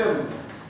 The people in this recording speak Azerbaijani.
Mən ustayam.